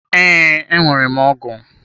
Ee, enwere m ọgụ.